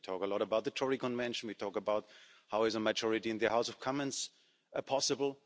We talk a lot about the Tory convention, we talk about how a majority in the House of Commons is possible.